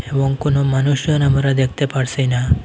এবং কোন মানুষজন আমরা দেখতে পারসিনা।